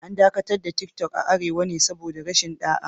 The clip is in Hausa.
An dakatar da Tiktok a Arewa ne saboda rashin ɗa'a